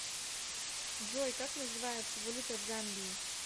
джой как называется валюта в замбии